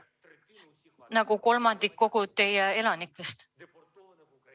See on kolmandik kogu teie elanikkonnast.